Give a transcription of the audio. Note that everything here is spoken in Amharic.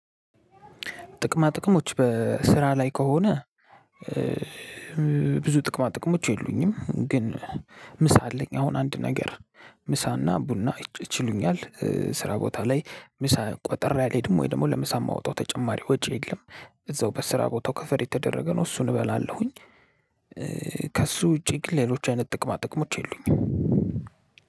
ጥቅማ ጥቅሞች በስራ ላይ ከሆነ ብዙ ጥቅማ ጥቅሞች የሉኝም። ግን ምሳ አለኝ አሁን አንድ ነገር ምሳና ቡና ይችሉኛል። ስራ ቦታ ላይ ምሳ ቋጥሬ አልሄድም ለምሳ ማወጠው ተጨማሪ ወጪ የለም። እዛው በስራው ቦታ ከቨር የተደረገ ነው እሱን እበላለሁኝ። ከሱ ውጪ ግን ሌሎች አይነት ጥቅማ ጥቅሞች የሉኝም።